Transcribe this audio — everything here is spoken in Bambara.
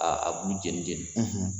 a b'u jenijeni